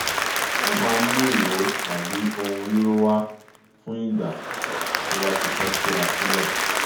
ó maá ń mú ìró tàbí ohun ríró wá fún ìgbà tó bá ti fẹ́ túra sílẹ̀